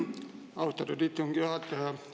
Austatud istungi juhataja!